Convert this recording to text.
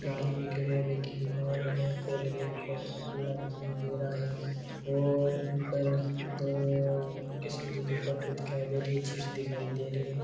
एक आदमी खड़े है ब्याँकी दुकान में कोलगेट कोका कोला दिखाई दे रहा है और ऊपर दो किशनजी की फोटो दिखाई दे रही है चिप्स दिखाई दे रही है।